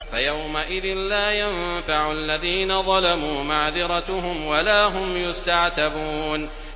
فَيَوْمَئِذٍ لَّا يَنفَعُ الَّذِينَ ظَلَمُوا مَعْذِرَتُهُمْ وَلَا هُمْ يُسْتَعْتَبُونَ